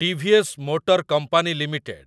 TVS motor company limited